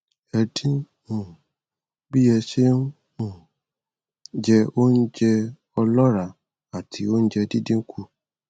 ẹ dín um bí ẹ ṣe ń um jẹ oúnjẹ o ọlọràá àti oúnjẹ dídín kù